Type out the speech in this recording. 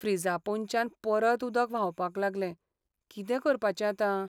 फ्रिजा पोंदच्यान परत उदक व्हांवपाक लागलें. कितें करपाचें आतां?